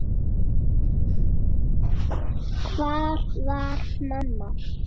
Hvar var mamma?